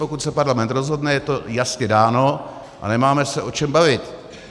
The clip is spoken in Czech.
Pokud se parlament rozhodne, je to jasně dáno a nemáme se o čem bavit.